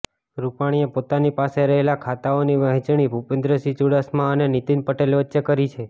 રૂપાણીએ પોતાની પાસે રહેલા ખાતાઓની વહેંચણી ભૂપેન્દ્રસિંહ ચૂડાસમા અને નીતિન પટેલ વચ્ચે કરી છે